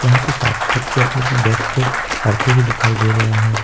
यहां पे काफी बच्चे अपने अपने डेस्क पे पढ़ते हुए दिखाई दे रहे हैं।